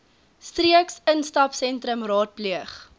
streeks instapsentrums raadpleeg